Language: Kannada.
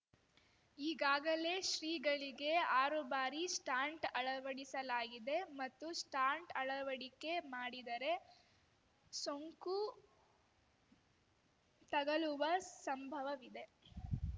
ಈಗಾಗಲೇ ಶ್ರೀಗಳಿಗೆ ಆರು ಬಾರಿ ಸ್ಟಾಂಟ್ ಅಳವಡಿಸಲಾಗಿದೆ ಮತ್ತೆ ಸ್ಟಾಂಟ್‌ ಅಳವಡಿಕೆ ಮಾಡಿದರೆ ಸೋಂಕು ತಗಲುವ ಸಂಭವವಿದೆ